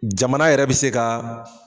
Jamana yɛrɛ bɛ se ka